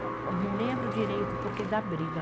Eu não lembro direito, o porquê da briga.